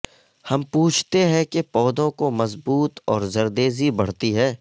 ہم پوچھتے ہیں کہ یہ پودوں کو مضبوط اور زردیزی بڑھتی ہے